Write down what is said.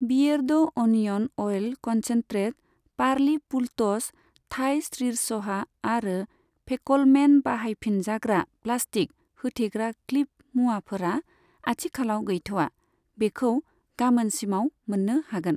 बियेरड' onion oil concentrate, पार्लि फुलट'स Thai sriracha आरो फेक'लमेन बाहायफिनजाग्रा प्लास्टिक होथेग्रा क्लिप मुवाफोरा आथिखालाव गैथ'आ, बेखौ गामोनसिमाव मोन्नो हागोन।